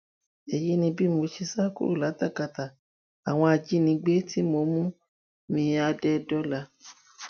èyí ni bí mo ṣe sá kúrò látakátá àwọn ajinígbé tó mú miádẹdọlà